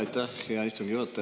Aitäh, hea istugi juhataja!